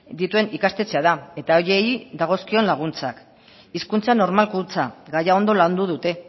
dituen ikastetxea da eta horiei dagozkion laguntzak hizkuntza normalkuntza gaia ondo landu dute